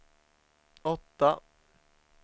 åtta